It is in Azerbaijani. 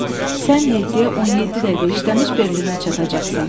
Sən yeddiyə 17 dəqiqə işləmiş Berlinə çatacaqsan.